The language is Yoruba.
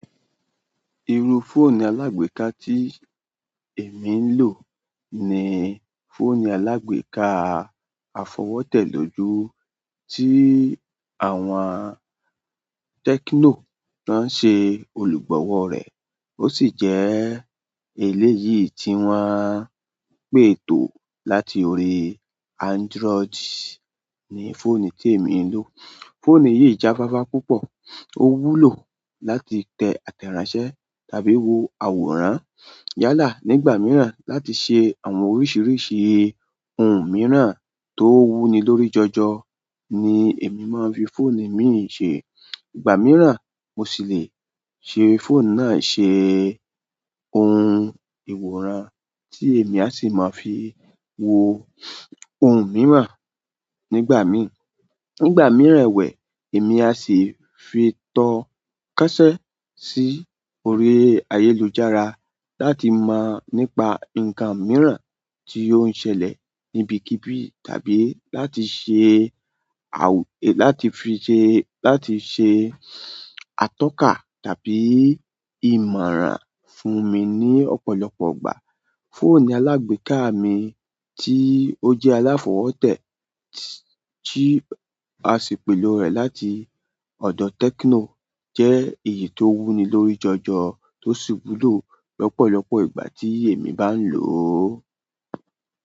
Iru fóònù alágbéká tí èmi ń lò ni fóònù alágbéká afọwọ́tẹ́ lójú tó àwọn téknò tan ń ṣe olùgbọ̀wọ́ rẹ̀. Ó sì jẹ́ èléyìí tí wọ́n pètò láti orí Android ni fóònù tí èmi ń lò. Fóònù yìí jáfáfá púpọ̀, ó wúlò láti tẹ àtẹ̀ránṣẹ́ tàbí wo àwòrán. Yálà nígbà mìíràn la ti se oun mìíràn to wu ni lórí joojo ni emi maa n fi fóònù mi yìí se. Ìgbà mìíràn mo sì lè ṣe fóònù náà ṣe ohun ìwòrán tí èmi á sì máa fi wo ohun mìíràn nígbà mìí. Nígbà mìíràn ẹ̀wẹ̀, èmi á sì fi tó kọṣẹ́ sí orí ayélujára láti mọ̀ nípa nǹkan mìíràn tí ó ń ṣẹlẹ̀ níbikíbi tàbí láti ṣe àwù-- láti fi ṣe, láti ṣe atọ́ka tàbí ìmọ̀ràn fún mi ní ọ̀pọ̀lọpọ̀ ìgbà. Fóònù alágbéká mi tí ó jẹ́ aláafọwọ́tẹ́ tí a ṣe pèlo rẹ̀ láti ọ̀dọ̀ Tecno jẹ́ èyí tó wúni lórí jọ̀jọ̀ tó sì wúlò lọ́pọ̀lọpọ̀ ìgbà tí èmi bá ń lò ó.